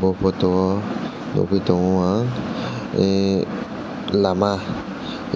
photo o nogoi tango ang a lama